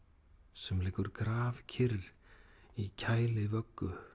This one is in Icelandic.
sem liggur grafkyrr í